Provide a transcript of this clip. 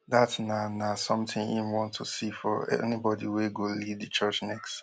dat na na something im want to see for anybody wey go lead di church next